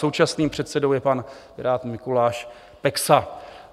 Současným předsedou je Pirát pan Mikuláš Peksa.